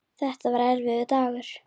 Þetta var erfiður dagur.